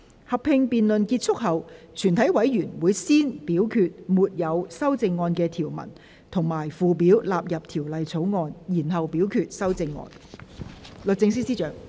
合併辯論結束後，全體委員會會先表決沒有修正案的條文及附表納入《條例草案》，然後表決修正案。